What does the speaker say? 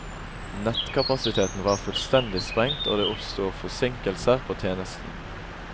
Nettkapasiteten var fullstendig sprengt, og det oppsto forsinkelser på tjenesten.